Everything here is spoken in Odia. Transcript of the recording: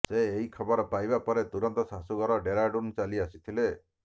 ସେ ଏହି ଖବର ପାଇବା ପରେ ତୁରନ୍ତ ଶାଶୂଘର ଡେରାଡୁନ୍ ଚାଲି ଆସିଥିଲେ